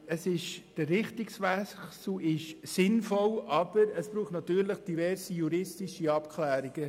Der Richtungswechsel ist sinnvoll, aber es braucht natürlich diverse juristische Abklärungen.